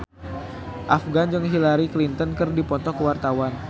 Afgan jeung Hillary Clinton keur dipoto ku wartawan